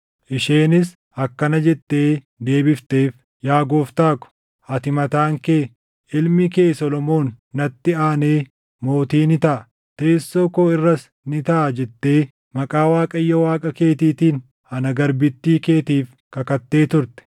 Isheenis akkana jettee deebifteef; “Yaa gooftaa ko, ati mataan kee, ‘Ilmi kee Solomoon natti aanee mootii ni taʼa; teessoo koo irras ni taaʼa’ jettee maqaa Waaqayyo Waaqa keetiitiin ana garbittii keetiif kakattee turte.